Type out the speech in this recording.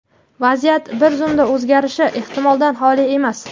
vaziyat bir zumda o‘zgarishi ehtimoldan xoli emas.